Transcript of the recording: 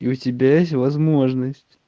и у тебя есть возможность